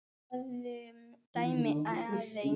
Skoðum dæmið aðeins.